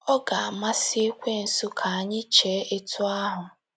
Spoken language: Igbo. ọ ga-amasị ekwensu ka anyị chee etu ahụ.